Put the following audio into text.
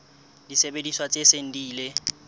disebediswa tse seng di ile